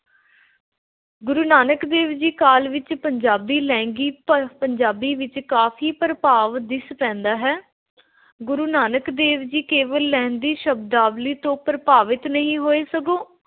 ਗੁਰੂ ਨਾਨਕ ਦੇਵ ਜੀ ਕਾਲ ਵਿੱਚ ਪੰਜਾਬੀ ਲਹਿੰਦੀ ਪਰ ਪੰਜਾਬੀ ਵਿੱਚ ਕਾਫ਼ੀ ਪ੍ਰਭਾਵ ਦਿਸ ਪੈਂਦਾ ਹੈ। ਗੁਰੂ ਨਾਨਕ ਦੇਵ ਜੀ ਕੇਵਲ ਲਹਿੰਦੀ ਸ਼ਬਦਾਵਲੀ ਤੋਂ ਪ੍ਰਭਾਵਿਤ ਹੀ ਨਹੀਂ ਹੋਏ, ਸਗੋਂ